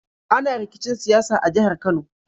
Ana rikicin siyasa a jahar kano